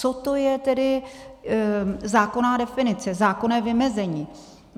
Co to je tedy zákonná definice, zákonné vymezení.